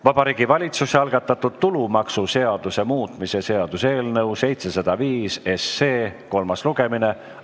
Vabariigi Valitsuse algatatud tulumaksuseaduse muutmise seaduse eelnõu 705 kolmas lugemine.